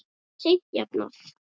Það verður seint jafnað.